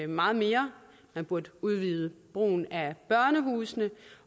meget mere man burde udvide brugen af børnehusene